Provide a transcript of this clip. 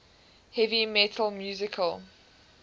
heavy metal musical